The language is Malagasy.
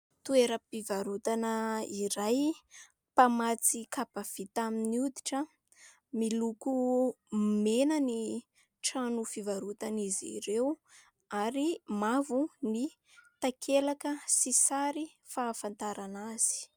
Toeram-pivarotana iray, mpamatsy kapa vita amin'ny hoditra. Miloko mena ny trano fivarotan' izy ireo ary mavo ny takelaka sy sary fahafantarana azy.